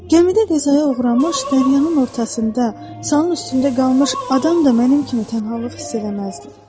Gəmidə qəzaya uğramış, dəryanın ortasında salın üstündə qalmış adam da mənim kimi tənhalıq hiss eləməzdi.